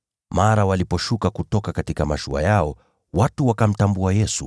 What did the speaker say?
Mara waliposhuka kutoka mashua yao, watu wakamtambua Yesu.